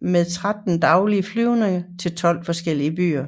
med tretten daglige flyvninger til tolv forskellige byer